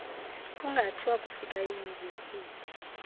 ungathi wakufika eyunivesiti